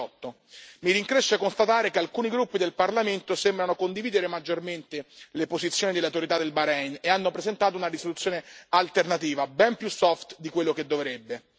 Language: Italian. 2018. Mi rincresce constatare che alcuni gruppi del Parlamento sembrano condividere maggiormente le posizioni delle autorità del Bahrein e hanno presentato una risoluzione alternativa ben più soft di quello che dovrebbe.